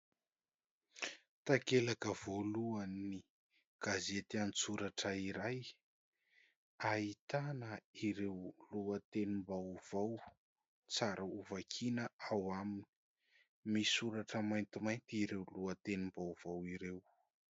Takelaka voalohan'ny gazety an-tsoratra iray, ahitana ireo lohatenim-baovao tsara hovakiana ao aminy misoratra maintimainty ireo lohatenim-baovao ireo.